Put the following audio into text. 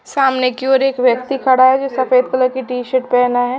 सामने की ओर एक व्यक्ति खड़ा है जो सफेद कलर की टी शर्ट पहना है।